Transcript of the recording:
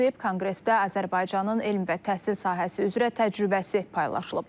Konqresdə Azərbaycanın elm və təhsil sahəsi üzrə təcrübəsi paylaşıb.